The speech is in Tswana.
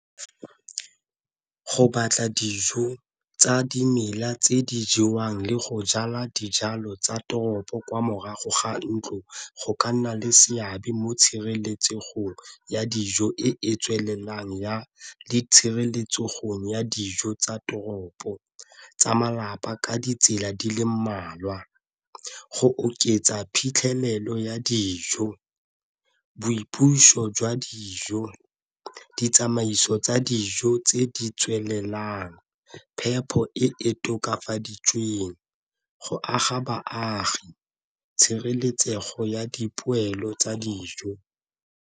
Go batla dijo tsa dimela tse di jewang le go jala dijalo tsa toropo kwa morago ga ntlo go ka nna le seabe mo tshireletsegong ya dijo e e tswelelang ya le ya dijo tsa toropo tsa malapa ka ditsela di le mmalwa, go oketsa phitlhelelo ya dijo, boipuso jwa dijo, ditsamaiso tsa dijo tse di tswelelang, phepho e e tokafaditsweng go aga baagi tshireletsego ya dipoelo tsa dijo.